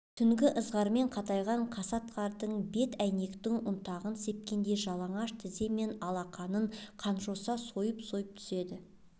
түнгі ызғармен қатайған қасат қардың бет әйнектің ұнтағын сепкендей жалаңаш тізе мен алақанын қанжоса сойып-сойып түседі